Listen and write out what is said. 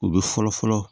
U bɛ fɔlɔ fɔlɔ